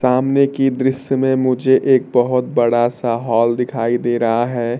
सामने की दृश्य में मुझे एक बहोत बड़ा सा हॉल दिखाई दे रहा है।